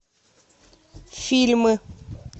фильмы